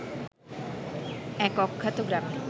এক অখ্যাত গ্রামে